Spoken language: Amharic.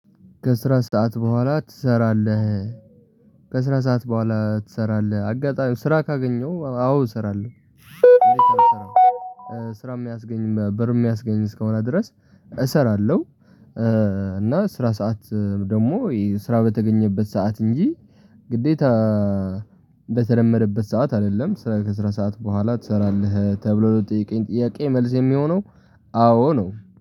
ከስራ ሰዓት በኋላ ትሰራለህ? ከስራ ሰዓት በኋላ ትሰራለህ? አጋጣሚ ስራ ካገኘሁ አዎ እሰራለሁ። እዴት አልሰራም። ስራ የሚያስገኝ ብር የሚያስገኝ እስከሆነ ድረስ እሰራለሁ። እና የስራ ሰዓት ደግሞ ስራ በተገኘበት ሰዓት እንጂ ግዴታ በተለመደበት ሰዓት አይደለም። ስራ ከስራ ሰዓት በኋላ ትሰራለህ ተብሎ ለተጠየቀኝ ጥያቄ መልስ የሚሆነው አዎ ነው